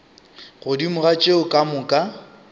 godimo ga tšeo ka moka